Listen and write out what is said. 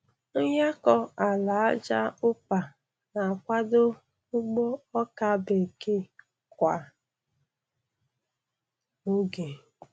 Nyakọ ala aja ụpa na-akwado ugbo ọka bekee kwa oge.